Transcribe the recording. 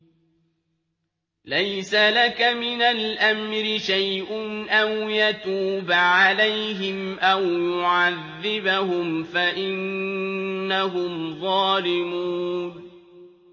لَيْسَ لَكَ مِنَ الْأَمْرِ شَيْءٌ أَوْ يَتُوبَ عَلَيْهِمْ أَوْ يُعَذِّبَهُمْ فَإِنَّهُمْ ظَالِمُونَ